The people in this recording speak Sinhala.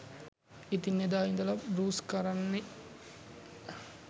ඉතින් එදා ඉදලා බෲස් කරන්නේ